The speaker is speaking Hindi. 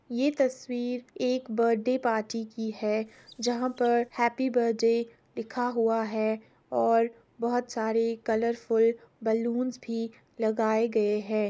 यह तस्वीर एक बर्थडे पार्टी की है जहां पर हैप्पी बर्थडे लिखा हुआ है और बोहोत सारे कलरफुल बलूंस भी लगाए गए हैं।